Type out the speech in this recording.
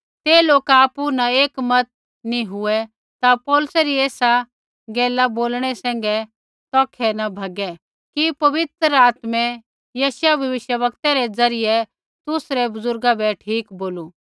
बै ते लोका आपु न एक मत नी हुऐ ता पौलुसै री एसा गैला बोलणै सैंघै तौखै न भैगै कि पवित्र आत्मै यशायाह भविष्यवक्तै रै ज़रियै तुसरै बुज़ुर्गा बै ठीक बोलू